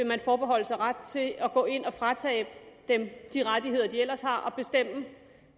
man forbeholde sig ret til at gå ind og fratage dem de rettigheder de ellers har og bestemme